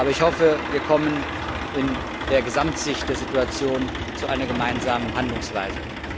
Aber ich hoffe, wir kommen in der Gesamtsicht der Situation zu einer gemeinsamen Handlungsweise.